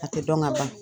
A tɛ dɔn ka ban